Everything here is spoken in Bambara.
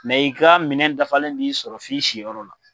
Mɛ i ka minɛn dafalen b'i sɔrɔ f'i siyɔrɔ la.